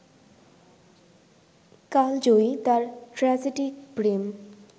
কালজয়ী তার ট্র্যাজিডিক প্রেম